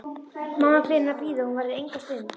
Mamma biður hann að bíða, hún verði enga stund.